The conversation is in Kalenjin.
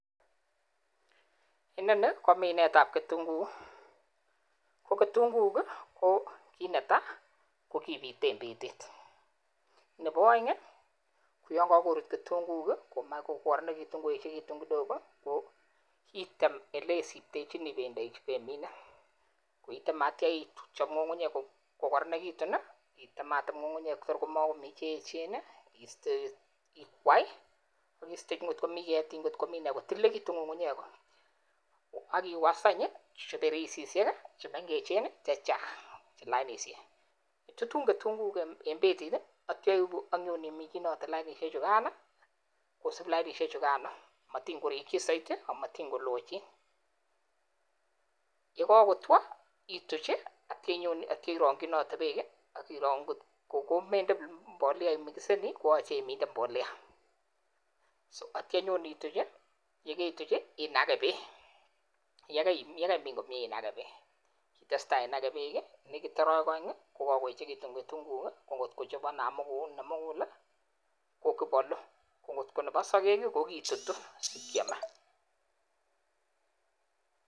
Inoni ko minetab kitunguik ko ketunguik ko kiit netaa kokibite en betit, nebo oeng ko yoon kokorut ketunguik komach koechekitun kokoronekitun kidogo ko iteem elesiptechini ibendoi ibemine koiteme akitio ichob ngungunyek kokoronekitun iteemmatem ngungunyek kotor komokomii che echen istee ikwai ak istee ngot komii ketik ngot komii nee kotililekitun ngungunyek ak iwaas any chebereisishek chemengechen chechang lainishek, itutun ketunguik en betit akitio ibuu ak inyoiminchinote lainishek chukan kosip lainishe chukan motin korikyi soiti amatingolochin, yekokotwo ituch akitio inyon akitio irongyinote beek ak iroo ngot ko komende mbolea imikiseni koyoche iminde mbolea, so akitio inyon ituch yekeituch inake beek, yekeimin komnye inake beek, itesta inake beek nekiit orowek oeng ko kokoechekitun kitunguik ko ngot kochob namukul ko kibolu ko ngot ko nebo sokek ko kitutu ak kemaa.